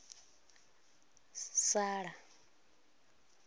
sala